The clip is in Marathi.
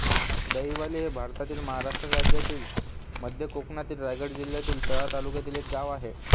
दहिवली हे भारतातील महाराष्ट्र राज्यातील मध्य कोकणातील रायगड जिल्ह्यातील तळा तालुक्यातील एक गाव आहे